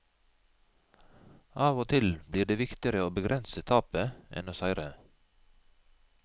Av og til blir det viktigere å begrense tapet enn å seire.